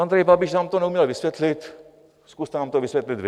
Andrej Babiš nám to neuměl vysvětlit, zkuste nám to vysvětlit vy.